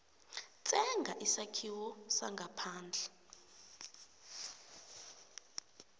tsenga isakhiwo sangaphandle